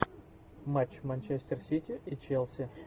матч манчестер сити и челси